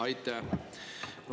Aitäh!